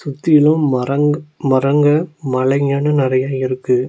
சுத்திலு மரங் மரங்க மலைங்கனு நெறைய இருக்கு.